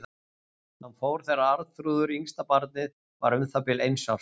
Hann fór þegar Arnþrúður, yngsta barnið, var um það bil eins árs.